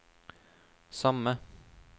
samme